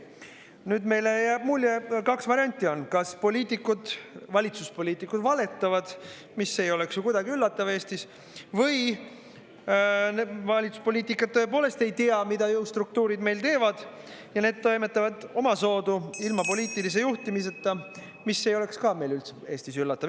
Nüüd meile jääb mulje, kaks varianti on: kas poliitikud, valitsuspoliitikud valetavad, mis ei oleks ju kuidagi üllatav Eestis, või valitsuspoliitikud tõepoolest ei tea, mida jõustruktuurid meil teevad, ja need toimetavad omasoodu, ilma poliitilise juhtimiseta, mis ei oleks ka meil Eestis üllatav.